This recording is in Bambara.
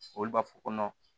Olu b'a fɔ ko